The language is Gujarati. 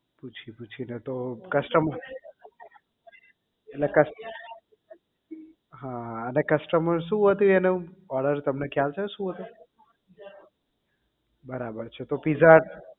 પૂછી પૂછી ને તો custom ને cust અ ને customer શું હતું એનું order તમને ખ્યાલ છે શું હતું બરાબર છે તો pizza